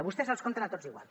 vostès els compten tots igual